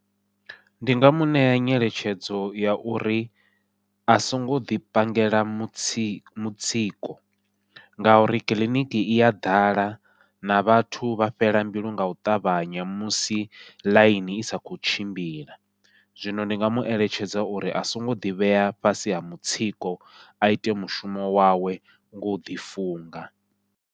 Ndi nga muṋea nyeletshedzo ya uri a songo ḓi pangela mutsiko mutsiko, ngauri kiḽiniki ia ḓala na vhathu vha fhela mbilu u ṱavhanya musi ḽaini i sa khou tshimbila, zwino ndi nga mueletshedza uri a songo ḓivhea fhasi ha mutsiko a ite mushumo wawe ngau ḓi funga.